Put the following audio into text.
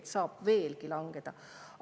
See saab langeda veelgi.